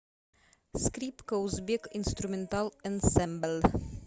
скрипка узбек инструментал энсэмбл